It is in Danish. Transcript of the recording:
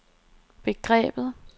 begrebet